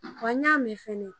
Wa n y'a mɛn fɛnɛ